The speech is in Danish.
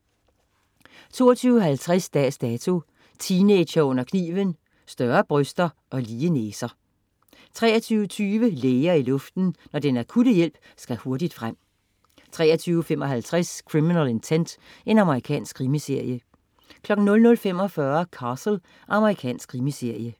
22.50 Dags Dato: Teenagere under kniven. Større bryster og lige næser 23.20 Læger i luften. Når den akutte hjælp skal hurtigt frem. 23.55 Criminal Intent. Amerikansk krimiserie 00.45 Castle. Amerikansk krimiserie